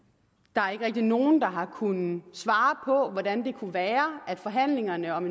der er ikke rigtig nogen der har kunnet svare på hvordan det kunne være at forhandlingerne om